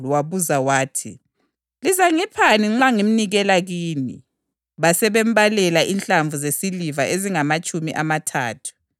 wabuza wathi, “Lizangiphani nxa ngimnikela kini?” Base bembalela inhlamvu zesiliva ezingamatshumi amathathu.